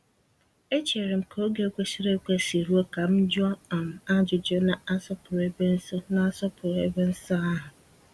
Echeere m ka oge kwesịrị ekwesị ruo ka m jụọ um ajụjụ, na-asọpụrụ ebe nsọ na-asọpụrụ ebe nsọ ahụ.